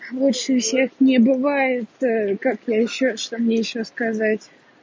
лучше всех не бывает как я ещё что мне ещё сказать